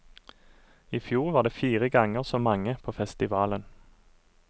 I fjor var det fire ganger så mange på festivalen.